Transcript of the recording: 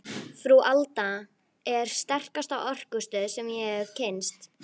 Frú Alda er sterkasta orkustöð sem ég hef kynnst.